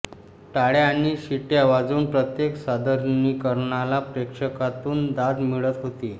टाळ्या आणि शिट्या वाजवून प्रत्येक सादरीकरणाला प्रेक्षकातून दाद मिळत होती